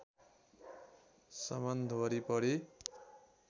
सम्बन्ध वरिपरि